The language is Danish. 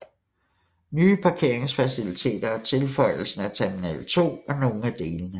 Nye parkeringsfaciliteter og tilføjelsen af Terminal 2 var nogle af delene